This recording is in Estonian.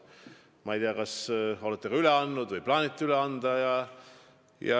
Ma ei tea, kas te olete selle üle andnud või plaanite anda.